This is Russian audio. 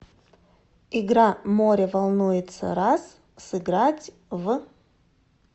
игра море волнуется раз сыграть в